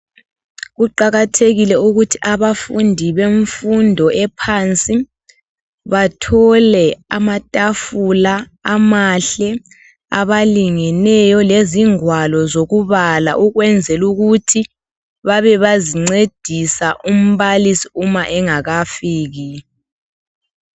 Kuqakathekile ukuthi abafundi bemfundo ephansi bathole amatafula amahle abalingeneyo lezingwalo zokubala ukwenzela ukuthi babebezincedisa umbalisi engakafiki.